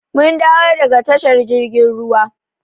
Mun dawo daga tashar jirgin ruwa.